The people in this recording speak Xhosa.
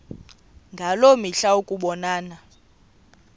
ngaloo mihla ukubonana